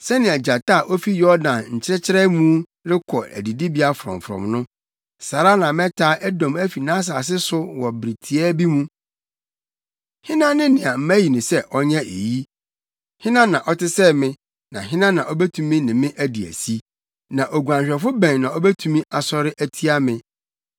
“Sɛnea gyata a ofi Yordan nkyɛkyerɛ mu rekɔ adidibea frɔmfrɔm no, saa ara na mɛtaa Edom afi nʼasase so wɔ bere tiaa bi mu. Hena ne nea mayi no sɛ ɔnyɛ eyi? Hena na ɔte sɛ me, na hena na obetumi ne me adi asi? Na oguanhwɛfo bɛn na obetumi asɔre atia me?”